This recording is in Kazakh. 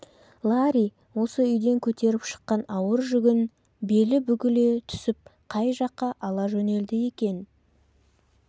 ларри осы үйден көтеріп шыққан ауыр жүгін белі бүгіле түсіп қай жаққа ала жөнелді екен